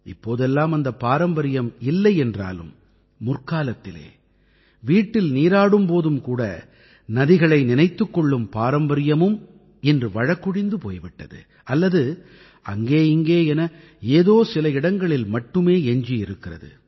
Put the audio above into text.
இப்போதெல்லாம் அந்தப் பாரம்பரியம் இல்லை என்றாலும் முற்காலத்திலே வீட்டில் நீராடும் போதும் கூட நதிகளை நினைத்துக் கொள்ளும் பாரம்பரியமும் இன்று வழக்கொழிந்து போய் விட்டது அல்லது அங்கே இங்கே என ஏதோ சில இடங்களில் மட்டுமே எஞ்சி இருக்கிறது